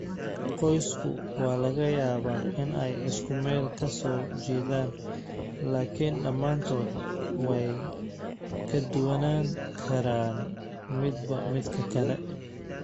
Qoysasku waa laga yaabaa in ay isku meel ka soo jeedaan, laakiin dhammaantood way ka duwanaan karaan midba midka kale.